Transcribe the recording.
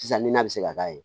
Sisan nin na bɛ se ka k'a ye